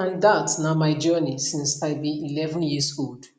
and dat na my journey since i be11 years old